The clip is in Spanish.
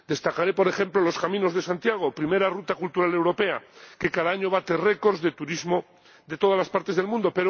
Destacaré, por ejemplo, los caminos de Santiago, primera ruta cultural europea, que cada año bate récords de turismo de todas las partes del mundo.